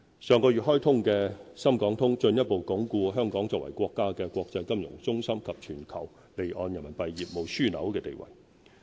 上月開通的"深港通"進一步鞏固香港作為國家的國際金融中心及全球離岸人民幣業務樞紐的地位。